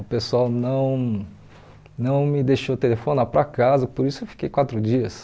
O pessoal não não me deixou telefonar para casa, por isso eu fiquei quatro dias.